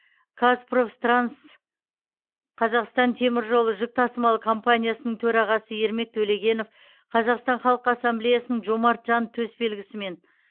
қазпрофтранс қазақстантеміржол жүк тасымалы компаниясының төрағасы ермек төлегенов қазақстан халқы ассамблеясының жомарт жан төсбелгісімен